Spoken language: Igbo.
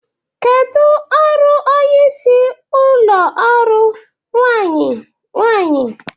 Kedu ọrụ onye isi ụlọ ọrụ/nwanyị nwanyị?